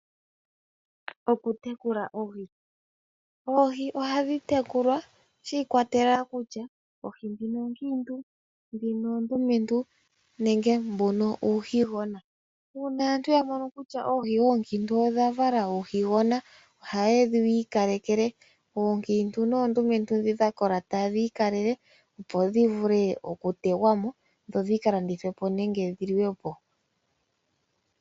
Okutekula Oohi, Oohi oha dhi tekulwa shi ikwatelela kutya Oohi ndhino oonkiintu, ndhino oondumentu, nenge mbuno uuhi gona. Uuna aantu ya mono kutya Oohi onkiintu odha vala uuhi gona oha yedhi ikalelekele, oonkintu noondumentu ndhi dha kola taye dhi ikalekele opo dhi vule oku tegwamo dho dhi kalandithwepo nenge dhi liwepo.